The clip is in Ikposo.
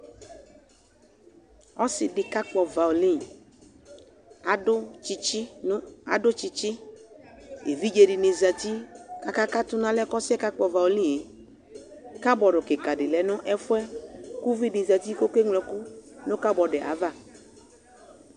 Ɔsɩ dɩ kakpɔ vaole Adʋ tsɩtsɩ nʋ adʋ tsɩtsɩ Evidze dɩnɩ zati kʋ akakatʋ nʋ alɛna yɛ ɔsɩ yɛ kakpɔ vaole yɛ Kabɔd kɩka dɩ lɛ nʋ ɛfʋ yɛ kʋ uvi dɩ zati kʋ ɔkeŋlo ɛkʋ nʋ kabɔd yɛ ava